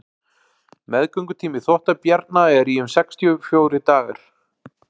meðgöngutími þvottabjarna er í um sextíu og fjórir dagar